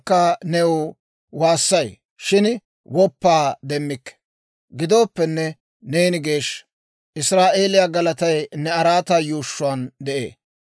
Gidooppenne, neeni geeshsha. Israa'eeliyaa galatay ne araataa yuushshuwaan de'ee.